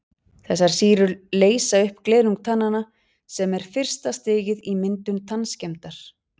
Þessar sýrur leysa upp glerung tannanna sem er fyrsta stigið í myndun tannskemmdar.